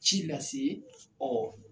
Ci lase